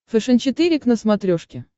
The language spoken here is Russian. фэшен четыре к на смотрешке